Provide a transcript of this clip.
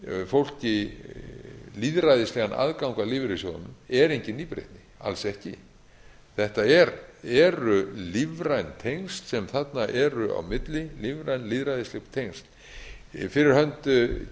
fólki lýðræðislegan aðgang að lífeyrissjóðunum er engin nýbreytni alls ekki þetta eru lífræn tengsl sem þarna eru á milli lífræn lýðræðisleg tengsl fyrir hönd